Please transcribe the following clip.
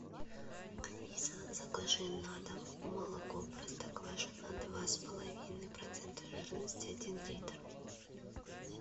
алиса закажи на дом молоко простоквашино два с половиной процента жирности один литр